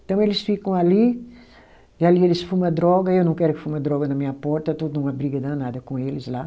Então eles ficam ali, e ali eles fuma droga, eu não quero que fuma droga na minha porta, eu estou numa briga danada com eles lá.